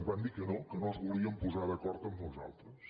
ens van dir que no que no es volien posar d’acord amb nosaltres